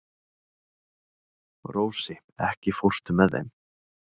Rósi, ekki fórstu með þeim?